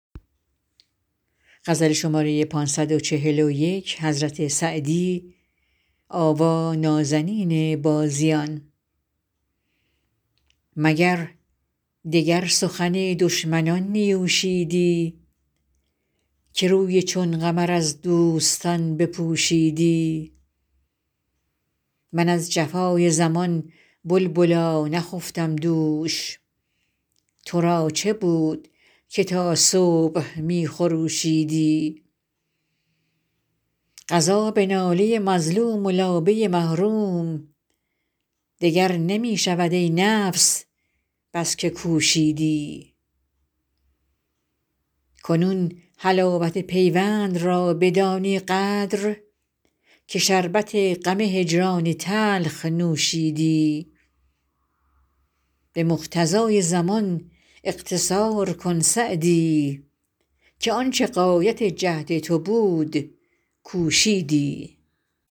مگر دگر سخن دشمنان نیوشیدی که روی چون قمر از دوستان بپوشیدی من از جفای زمان بلبلا نخفتم دوش تو را چه بود که تا صبح می خروشیدی قضا به ناله مظلوم و لابه محروم دگر نمی شود ای نفس بس که کوشیدی کنون حلاوت پیوند را بدانی قدر که شربت غم هجران تلخ نوشیدی به مقتضای زمان اقتصار کن سعدی که آن چه غایت جهد تو بود کوشیدی